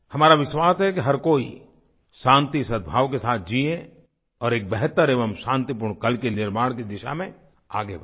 हमारा विश्वास है कि हर कोई शांति सद्भाव के साथ जीए और एक बेहतर एवं शांतिपूर्ण कल के निर्माण की दिशा में आगे बढ़े